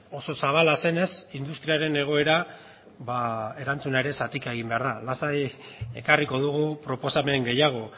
oso zabala zenez industriaren egoera erantzuna ere zatika egin behar da lasai ekarriko dugu proposamen gehiago